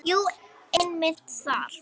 Jú, einmitt þar.